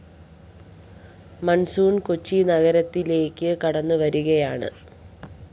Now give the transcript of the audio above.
monsoon Kochi നഗരത്തിലേക്ക് കടന്നു വരികയാണ്